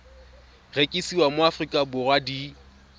rekisiwa mo aforika borwa di